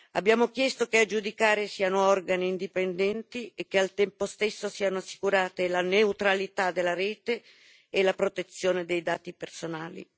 Abbiamo chiesto che a giudicare siano organi indipendenti e che al tempo stesso siano assicurate la neutralità della rete e la protezione dei dati personali.